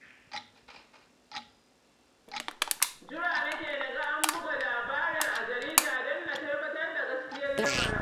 Jira nake na ga an buga labarin a jarida don na tabbatar da gaskiyar lamarin